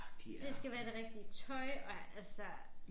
Det skal være det rigtige tøj og altså